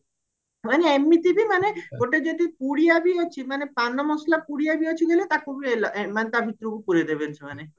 ମାନେ ଏମିତି ବି ମାନେ ଗୋଟେ ଯଦି ପୁଡିଆ ବି ଅଛି ମାନେ ପାନ ମସଲା ପୁଡିଆ ବି ଅଛି କହିଲେ ତାକୁ ବି ତା ଭିତରକୁ ପୁରେଇଦେବେନି ସେମାନେ